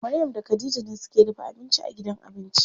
Maryam da Khadija ne suke dafa abinci a gidan abinci.